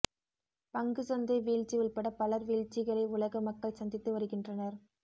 பங்குச் சந்தை வீழ்ச்சி உள்பட பலர் வீழ்ச்சிகளை உலக மக்கள் சந்தித்து வருகின்றனர்